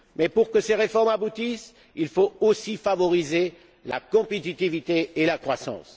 Pour que ces réformes aboutissent, il faut aussi favoriser la compétitivité et la croissance.